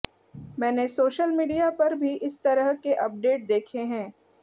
मैंने social media पर भी इस तरह के अपडेट देखे हैं